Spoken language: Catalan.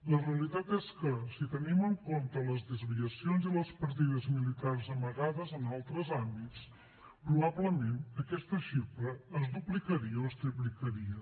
la realitat és que si tenim en compte les desviacions i les partides militars amagades en altres àmbits probablement aquesta xifra es duplicaria o es triplicaria